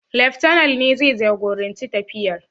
Leftana ne zai jagoranci tafiyar.